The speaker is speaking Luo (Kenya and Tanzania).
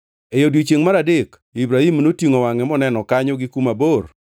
E odiechiengʼ mar adek Ibrahim notingʼo wangʼe moneno kanyo gi kuma bor.